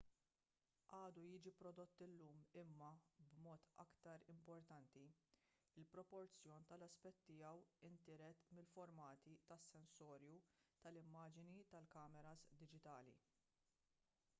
għadu jiġi prodott illum imma b'mod iktar importanti il-proporzjon tal-aspett tiegħu intiret mill-formati tas-sensorju tal-immaġni tal-kameras diġitali